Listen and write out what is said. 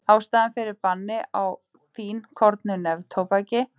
Ástæðan fyrir banni á fínkornóttu neftóbaki er líklega einnig stutt heilsufarslegum hugmyndum.